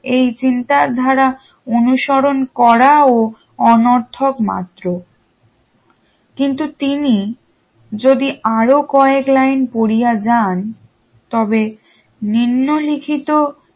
এই চিন্তা ধারা অনুসরণ করাও অনার্থক মাত্র কিন্তু তিনি আরো কয়েক line পড়িয়া যান তবে নিম্ন লিখিত